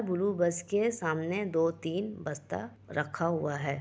Blue bus के सामने दो-तीन बस्ता रखा हुआ है।